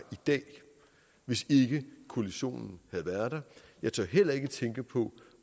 dag hvis ikke koalitionen havde været der jeg tør heller ikke tænke på